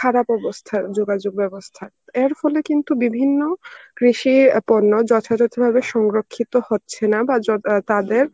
খারাপ অবস্থা যোগাযোগ ব্যবস্থা. এর ফলে কিন্তু বিভিন্ন কৃষি পণ্য যথাযথভাবে সংরক্ষিত হচ্ছে না বা যতা~ তাদের